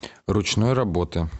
ручной работы